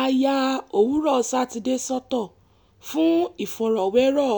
a ya òwúrọ̀ sátidé sọ́tọ̀ fún ìfọ̀rọ̀wérọ̀